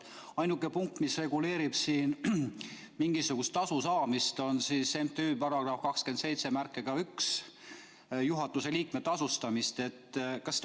Ainuke punkt, mis reguleerib siin mingisugust tasu saamist, on § 281 "Juhatuse liikme tasustamine".